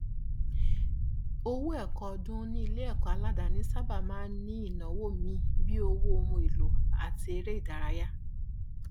owó ẹkọ ọdún níléẹkọ aládàání sáábà ní àwọn ìnáwó míì bíi owó ohun èlò àti eréìdárayá